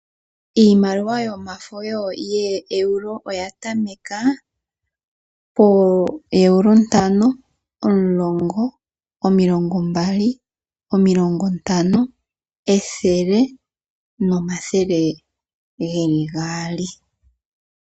Iimaliwa yomafo yooEuro oya tameka Euro ntano, omulongo, omilongo mbali, omilongo ntano, ethele nomathele geli gaali.